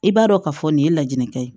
I b'a dɔn ka fɔ nin ye laɲini kɛ ye